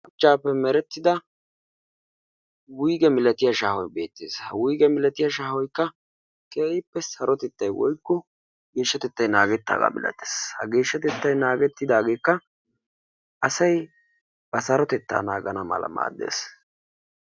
shuchchappe meretida wuygge milaatiya shaaho beettees. ha wuygge milaatiyaa shaahoykka keehippe sarotettay woykko geshshatettay naagetidaagetekka asay ba geshshatetta naaganw maaddees.